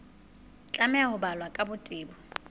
tlameha ho balwa ka botebo